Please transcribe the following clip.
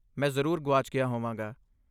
ਮੈਂ ਜ਼ਰੂਰ ਗੁਆਚ ਗਿਆ ਹੋਵਾਂਗਾ।